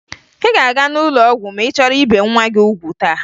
Ị ga-aga n'ụlọ ọgwụ ma ị chọrọ ibe nwa gị ugwu taa